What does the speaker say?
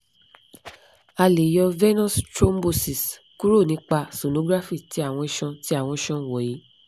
a le yo venous thrombosis kuro nipa sonography ti awọn ison ti awọn ison wonyi